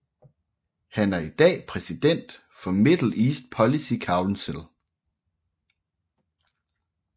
Han er i dag præsident for Middle East Policy Council